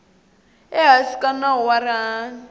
ehansi ka nawu wa rihanyu